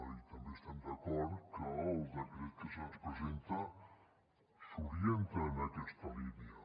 i també estem d’acord que el decret que se’ns presenta s’orienta en aquesta línia